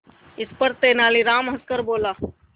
इस पर तेनालीराम हंसकर बोला